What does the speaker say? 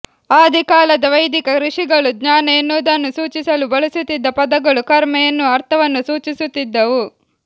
ಆದಿಕಾಲದ ವೈದಿಕ ಋಷಿಗಳು ಜ್ಞಾನ ಎನ್ನುವುದನ್ನು ಸೂಚಿಸಲು ಬಳಸುತ್ತಿದ್ದ ಪದಗಳು ಕರ್ಮ ಎನ್ನುವ ಅರ್ಥವನ್ನೂ ಸೂಚಿಸುತ್ತಿದ್ದವು